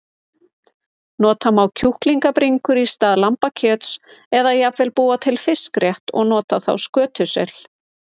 Nota má kjúklingabringur í stað lambakjöts eða jafnvel búa til fiskrétt og nota þá skötusel.